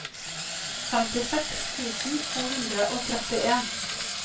femtiseks tusen to hundre og trettien